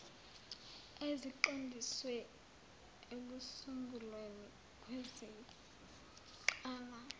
eziqondiswe ekusungulweni kwezingqala